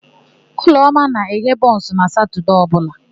Ụlọma na-eghe bụns na Satọdee ọbụla.